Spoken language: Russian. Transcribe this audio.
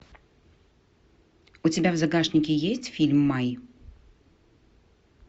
у тебя в загашнике есть фильм май